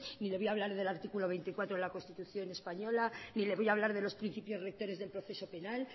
ni le voy a hablar del artículo veinticuatro de la constitución española ni le voy a hablar de los principios rectores del proceso penal